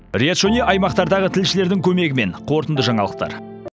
риат шони аймақтардағы тілшілердің көмегімен қорытынды жаңалықтар